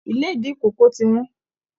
Ilédì ikòkò tí wọ́n.